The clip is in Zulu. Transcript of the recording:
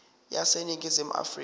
wase ningizimu afrika